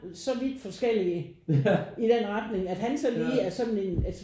Så vidt forskellige i den retning at han så lige er sådan en altså